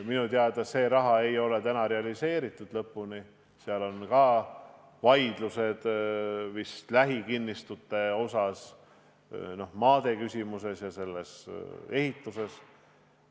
Minu teada ei ole seda raha veel lõpuni realiseeritud, seal on tekkinud ka vist vaidlused lähikinnistute osas, noh, maade küsimuses ja selles ehituses.